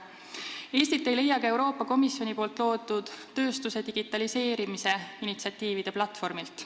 Eestit ei leia ka Euroopa Komisjoni loodud tööstuse digitaliseerimise initsiatiivide platvormilt.